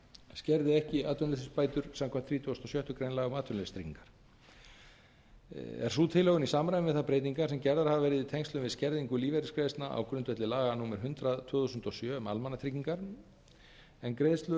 skerði ekki atvinnuleysisbætur samkvæmt þrítugustu og sjöttu grein laga um atvinnuleysistryggingar er sú tilhögun í samræmi við þær breytingar sem gerðar hafa verið í tengslum við skerðingu lífeyrisgreiðslna á grundvelli laga númer hundrað tvö þúsund og sjö um almannatryggingar en greiðslur